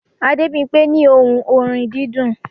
Adebimpe ní ohùn orin dídùn